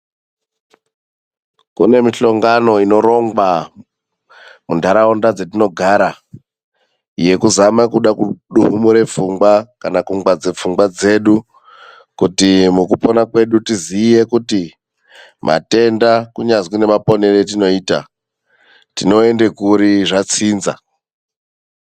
Kune mihlongano inorongwa mundaraunda dzetoogara, yekuzama kuda kuduhumura pfungwa kana kungwadze pfungwa dzedu kuti mukupona kwedu tiziye kuti matenda kunyazwi nemaponero etinoita, tinoenda kuri zvatsinza.